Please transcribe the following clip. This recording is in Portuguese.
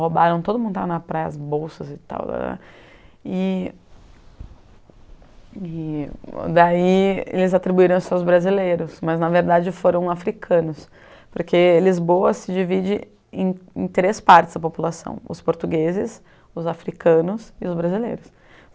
roubaram, todo mundo estava na praia, as bolsas e tal, e e daí eles atribuíram-se aos brasileiros, mas na verdade foram africanos, porque Lisboa se divide em em três partes da população, os portugueses, os africanos e os brasileiros.